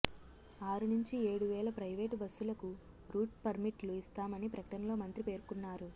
ఆరు నుంచి ఏడు వేల ప్రైవేటు బస్సులకు రూట్ పర్మిట్లు ఇస్తామని ప్రకటనలో మంత్రి పేర్కొన్నారు